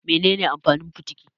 Mene ne amfanin fitiki?